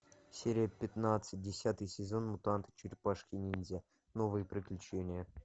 серия пятнадцать десятый сезон мутанты черепашки ниндзя новые приключения